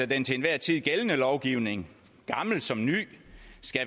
den til enhver tid gældende lovgivning gammel som ny